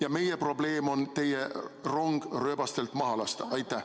Ja meie probleem on teie rong rööbastelt maha lasta.